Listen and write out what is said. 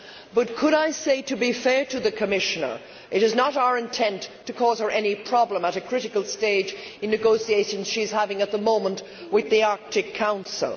But I would like to say, to be fair to the Commissioner, that it is not our intent to cause her any problems at a critical stage in the negotiations she is having at the moment with the Arctic Council.